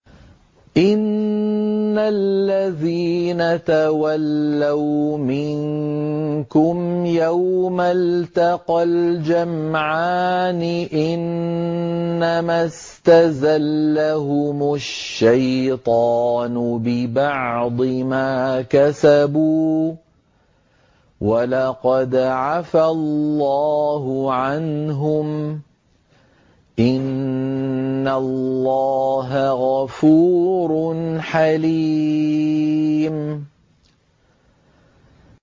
إِنَّ الَّذِينَ تَوَلَّوْا مِنكُمْ يَوْمَ الْتَقَى الْجَمْعَانِ إِنَّمَا اسْتَزَلَّهُمُ الشَّيْطَانُ بِبَعْضِ مَا كَسَبُوا ۖ وَلَقَدْ عَفَا اللَّهُ عَنْهُمْ ۗ إِنَّ اللَّهَ غَفُورٌ حَلِيمٌ